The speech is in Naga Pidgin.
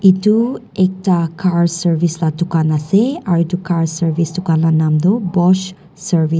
etu ekta car service laga dukan ase aru etu car service dukan laga nam tu bosch service .